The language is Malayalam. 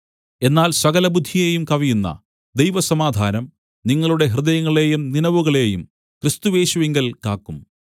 എന്നാൽ സകല ബുദ്ധിയെയും കവിയുന്ന ദൈവസമാധാനം നിങ്ങളുടെ ഹൃദയങ്ങളെയും നിനവുകളെയും ക്രിസ്തുയേശുവിങ്കൽ കാക്കും